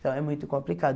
Então, é muito complicado.